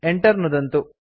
Enter नुदन्तु